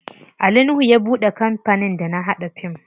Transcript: Ali nuhu ya buɗe kampanin da na haɗa fim.